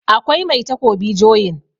akwai Mai takobi joyin